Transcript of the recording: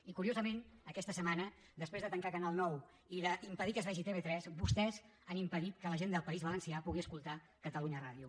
i curiosament aquesta setmana després de tancar canal nou i d’impedir que es vegi tv3 vostès han impedit que la gent del país valencià pugui escoltar catalunya ràdio